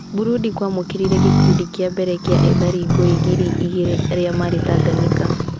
Burundi kwamũkĩrire gĩkundi kĩa mbere kĩa ethari ngũĩ ngiri igirĩ arĩa marĩ Tanganyika.